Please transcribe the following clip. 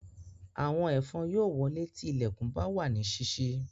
Àwọn ẹ̀fọn yóò wolé tí ilẹ̀kùn bá wà ní sísí